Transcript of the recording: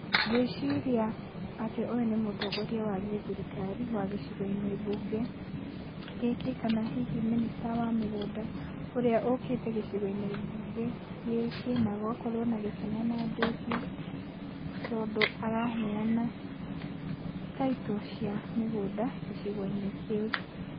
Ngwĩciria atĩ ũyũ nĩ mũtongoria wa gĩthirikari wa gĩcigo-inĩ mbunge gĩkĩ kana hihi mĩnĩcita wa mĩgũnda ũrĩa ũkĩte gĩcigo-inĩ mbunge gĩkĩ na gũgakorwo na gĩkeno na ndũhio tondũ araheana taitũ cia mĩgũnda gĩcigo-inĩ kĩu.